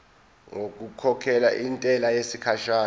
ngokukhokhela intela yesikhashana